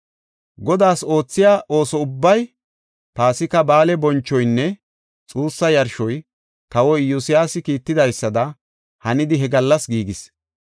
Godaas oothiya ooso ubbay, Paasika Ba7aale bonchoynne xuussa yarshoy, kawoy Iyosyaasi kiittidaysada hanidi he gallas giigis.